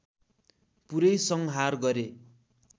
पुरै संहार गरे